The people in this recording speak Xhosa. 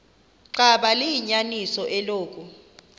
xaba liyinyaniso eloku